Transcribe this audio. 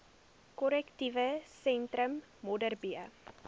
korrektiewe sentrum modderbee